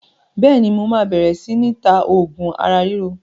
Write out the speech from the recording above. Bẹ́ẹ̀ni, mo máa bẹ̀rẹ̀ si ni ta oògùn ara ríro